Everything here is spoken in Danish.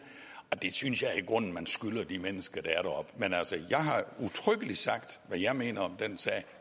og det synes jeg i grunden man skylder de mennesker der er deroppe men altså jeg har udtrykkeligt sagt hvad jeg mener om den sag